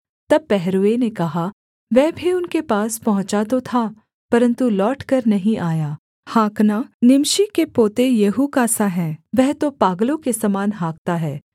तब पहरुए ने कहा वह भी उनके पास पहुँचा तो था परन्तु लौटकर नहीं आया हाँकना निमशी के पोते येहू का सा है वह तो पागलों के समान हाँकता है